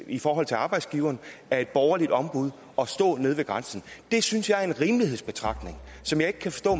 i forhold til arbejdsgiveren er et borgerligt ombud at stå nede ved grænsen det synes jeg er en rimelighedsbetragtning som jeg ikke kan forstå